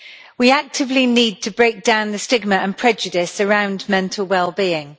We actively need to break down the stigma and prejudice around mental well-being.